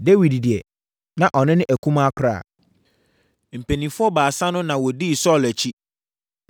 Dawid deɛ, na ɔno ne akumaa koraa. Mpanimfoɔ baasa no na wɔdii Saulo akyi,